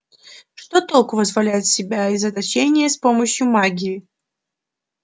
что толку вызволять себя из заточения с помощью магии